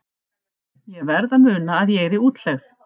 Ég verð að muna að ég er í útlegð.